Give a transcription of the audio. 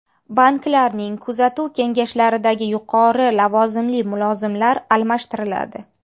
Banklarning kuzatuv kengashlaridagi yuqori lavozimli mulozimlar almashtiriladi.